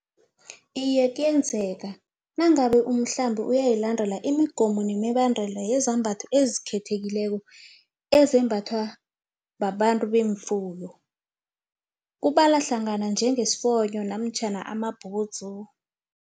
Iye, kuyenzeka nangabe umhlambi uyilandele imigomo nemibandela yezambatho ezikhethekileko, ezembathiwa babantu beemfuto, kubalwa hlangana njengesifonyo namtjhana amabhudzu.